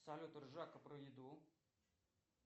салют ржака про еду